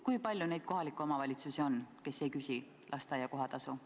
Kui palju neid kohalikke omavalitsusi on, kes ei küsi lasteaia kohatasu?